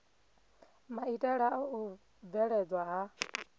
maitele a u bveledzwa ha